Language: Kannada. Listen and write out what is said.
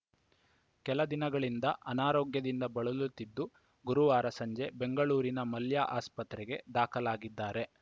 ಕೆಲ ದಿನಗಳಿಂದ ಅನಾರೋಗ್ಯದಿಂದ ಬಳಲುತ್ತಿದ್ದು ಗುರುವಾರ ಸಂಜೆ ಬೆಂಗಳೂರಿನ ಮಲ್ಯ ಆಸ್ಪತ್ರೆಗೆ ದಾಖಲಾಗಿದ್ದಾರೆ